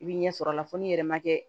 I bi ɲɛ sɔrɔ a la fo ni yɛrɛ ma kɛ